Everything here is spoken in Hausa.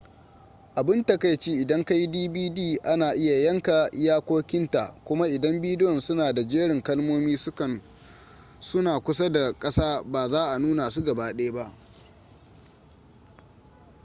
abun takaici idan kayi dvd ana iya yanka iyakokin ta kuma idan bidiyon suna da jerin kalmomin suna kusa da kasa ba za a nuna su gabaɗaya ba